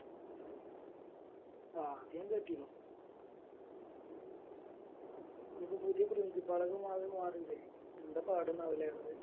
ആഹ് അത് ഞാൻ കേട്ടീനു ഇനിയിപ്പോ പുതിയ principal ഒക്കെ മാറീല്ലേ എന്താ പടേന്നാവല്ലേ ഒള്ളത്